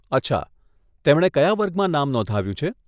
અચ્છા, તેમણે કયા વર્ગમાં નામ નોંધાવ્યું છે?